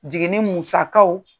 Jiginni musakaw